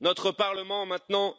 Notre Parlement